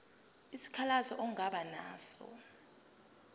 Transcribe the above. isikhalazo ongaba naso